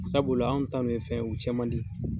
Sabula an ta nun ye fɛn ye u cɛn man di.